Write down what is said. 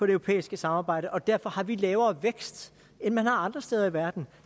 europæiske samarbejde og derfor har vi lavere vækst end man har andre steder i verden